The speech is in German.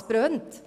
Es brennt!